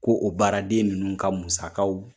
Ko o baaraden minnu ka musakaw